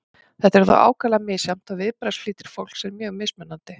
þetta er þó ákaflega misjafnt og viðbragðsflýtir fólks er mjög mismunandi